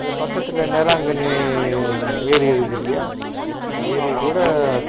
அதுக்கு பக்கத்துல நேரா ஒரு ஏரி இருக்குதில்லையா அந்த கூட